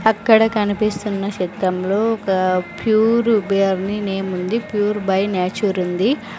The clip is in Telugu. అక్కడ కనిపిస్తున్న చిత్రంలో ఒక ప్యూర్ బ్యర్ని నేమ్ ఉంది ప్యూర్ బై న్యాచూర్ ఉంది.